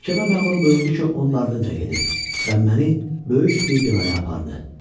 Məhkəmə məmuru buyurdu ki, onun ardınca gedim və məni böyük bir binaya apardı.